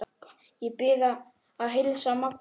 Ég bið að heilsa Manga!